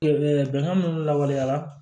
bɛnkan min lawaleyara